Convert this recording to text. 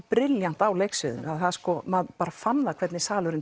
brillíant á leiksviðinu að maður fann hvernig salurinn